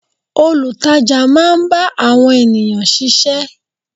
Olutaja máa ń bá àwọn ènìyàn sise.